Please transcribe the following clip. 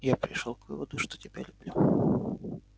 я пришёл к выводу что тебя люблю